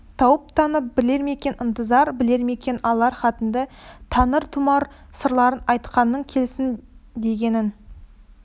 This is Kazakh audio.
тауып танып білер ме екен ынтызар білер мәкен алар хатыңды таныр тұмар сырларын айтқаның келсін дегенің